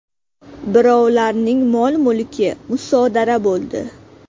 Birovlarning mol-mulki musodara bo‘ldi.